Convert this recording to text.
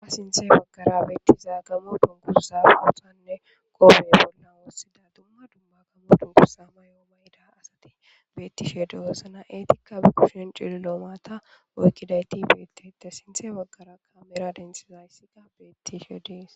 Ha sinthe baggara beettiza gamo dunkusa bothanne kome bolna woossida dumma dumba kamo dunkusa ma yooma yida asati bettishe deossana eetikka bikushin cililoomaata oykkidayti bettete sinthe baggara kamera dentsiza yssiga beettishe de'ees.